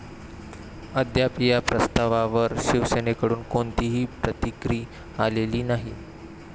अद्याप या प्रस्तवावर शिवसेनेकडून कोणतीही प्रतिक्रि आलेली नाही.